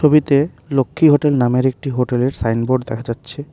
ছবিতে লক্ষ্মী হোটেল নামের একটি হোটেলের সাইনবোর্ড দেখা যাচ্ছে।